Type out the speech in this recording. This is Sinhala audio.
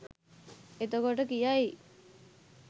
එතකොට කියයි